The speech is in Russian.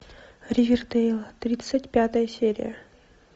ривердэйл тридцать пятая серия